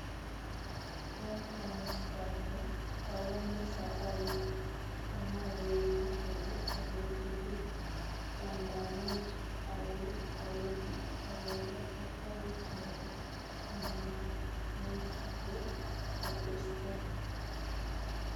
Eng komostanyu, awendi safarit amawengi olo agetugul, Banda much awe awendi agoba safarit nebo kamanuut ko atestai